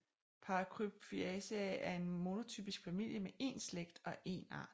Paracryphiaceae er en monotypisk familie med én slægt og én art